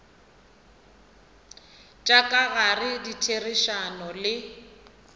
tša ka gare ditherišano le